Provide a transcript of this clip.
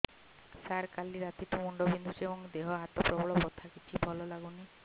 ସାର କାଲି ରାତିଠୁ ମୁଣ୍ଡ ବିନ୍ଧୁଛି ଏବଂ ଦେହ ହାତ ପ୍ରବଳ ବଥା କିଛି ଭଲ ଲାଗୁନି